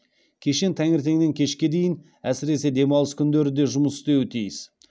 кешен таңертеңнен кешке дейін әсіресе демалыс күндері де жұмыс істеуі тиіс